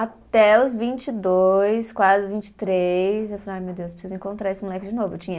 Até os vinte e dois, quase vinte e três, eu falei, ai meu Deus, preciso encontrar esse moleque de novo, eu tinha